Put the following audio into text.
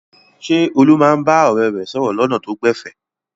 Ṣé Olú máa ń bá ọ̀rẹ́ rẹ̀ sọ̀rọ̀ lọ́nà tó gbẹ̀fẹ̀?